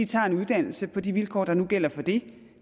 tager en uddannelse på de vilkår der nu gælder for det